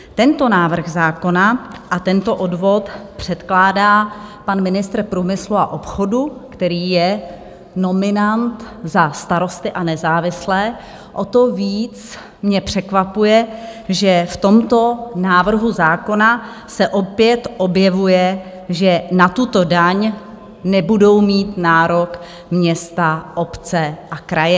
Tento návrh zákona a tento odvod předkládá pan ministr průmyslu a obchodu, který je nominant za Starosty a nezávislé, o to víc mě překvapuje, že v tomto návrhu zákona se opět objevuje, že na tuto daň nebudou mít nárok města, obce a kraje.